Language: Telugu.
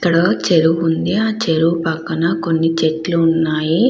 ఇక్కడ చెరువు ఉంది. ఆ చెరువు పక్కన కొన్ని చెట్లు ఉన్నాయి.